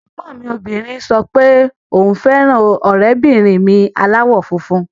Ẹ̀gbọ́n mi obìnrin sọ pé òun fẹ́ràn ọ̀rẹ́bìnrin mi aláwọ̀ funfun